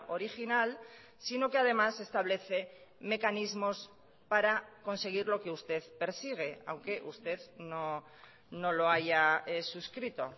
original sino que además establece mecanismos para conseguir lo que usted persigue aunque usted no lo haya suscrito